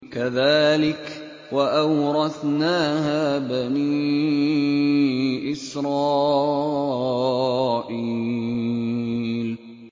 كَذَٰلِكَ وَأَوْرَثْنَاهَا بَنِي إِسْرَائِيلَ